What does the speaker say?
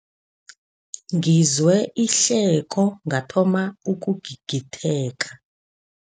Ngizwe ihleko ngathoma ukugigitheka.